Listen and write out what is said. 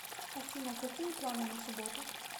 афина какие планы на субботу